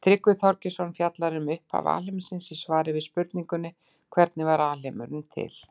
Tryggvi Þorgeirsson fjallar nánar um upphaf alheimsins í svari við spurningunni Hvernig varð alheimurinn til?